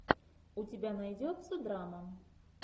у тебя найдется драма